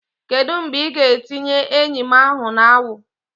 Kedu mgbe ị ga-etinye eyim ahu na awu?